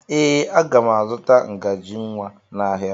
Ee, aga m azụta ngaji nwa n'ahịa.